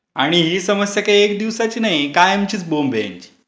आणि ही समस्या काय एक दिवसाची नाही आहे. कायमचीच बोंब आहे यांची.